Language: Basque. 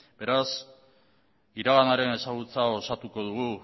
beraz iraganaren ezagutza osatuko dugu